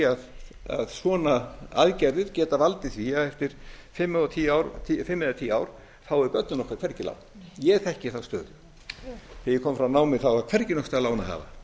að svona aðgerðir geta valdið því að eftir fimm eða tíu ár fái börnin okkar hvergi lán ég þekki þá stöðu þegar ég kom frá námi þá var hvergi nokkurs staðar lán að